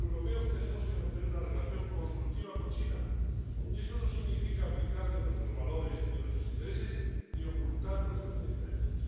Los europeos tenemos que mantener una relación constructiva con China, y eso no significa abdicar de nuestros valores ni de nuestros intereses, ni ocultar nuestras diferencias.